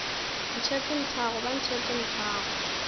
ntšhetše nthago ba ntšhetše nthago